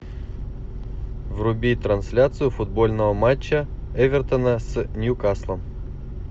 вруби трансляцию футбольного матча эвертона с ньюкаслом